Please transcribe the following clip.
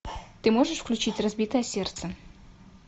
ты можешь включить разбитое сердце